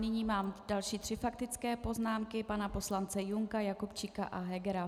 Nyní mám další tři faktické poznámky - pana poslance Junka, Jakubčíka a Hegera.